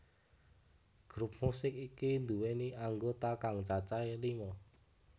Grup musik iki nduwèni anggota kang cacahé lima